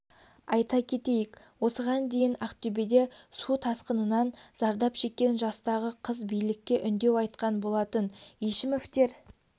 айта кетейік осыған дейін ақтөбеде су тасқынынан зардап шеккен жастағы қыз билікке үндеу айтқан болатын ешімовтер